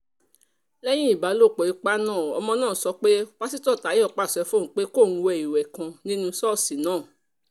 lẹ́yìn ìbálòpọ̀ ipa náà ọmọ náà sọ pé pásítọ̀ táyọ̀ pàṣẹ fóun pé kóun wé ìwé kan nínú ṣọ́ọ̀ṣì náà